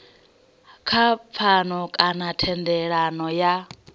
kha pfano kana thendelano ya